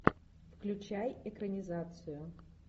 включай экранизацию